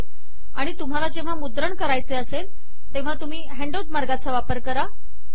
आणि तुम्हाला जेव्हा मुद्रण करायचे असेल तेव्हा तुम्ही हॅन्डआउट मार्गाचा वापर करा